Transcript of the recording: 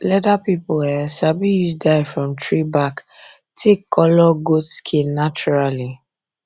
leather people um sabi use dye from tree bark take colour goat skin naturally